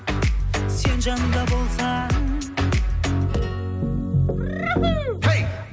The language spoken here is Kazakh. сен жанымда болсаң